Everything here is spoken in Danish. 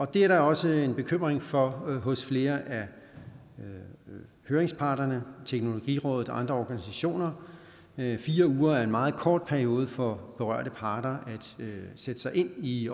det er der også en bekymring for hos flere af høringsparterne teknologirådet og andre organisationer fire uger er en meget kort periode for berørte parter til at sætte sig ind i